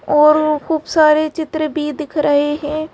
और खूब सारे चित्र भी दिख रहे हैं।